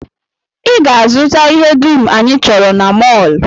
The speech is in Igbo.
I ga-azụta ihe dum anyị chọrọ na mọl!